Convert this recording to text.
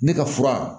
Ne ka fura